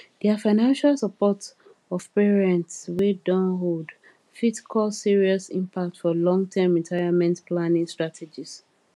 their financial support of parents wey don old fit cause serious impact for longterm retirement planning strategies